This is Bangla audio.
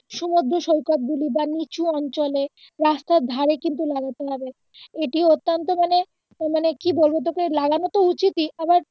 সমুদ্র সৈকত গুলি বা নিচু অঞ্চলে রাস্তার ধারে কিন্তু লাগাতে হবে এটি অত্যান্ত মানে মানে কি বলবো তোকে লাগানো তো উচিতই